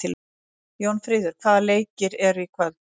Jónfríður, hvaða leikir eru í kvöld?